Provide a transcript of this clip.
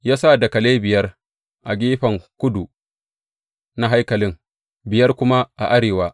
Ya sa dakalai biyar a gefen kudu na haikali, biyar kuma a arewa.